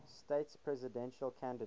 states presidential candidates